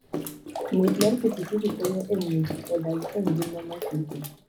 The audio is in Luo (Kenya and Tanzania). Ng'wech mar pikipiki konyo e miyo ji odag e ngima masiko.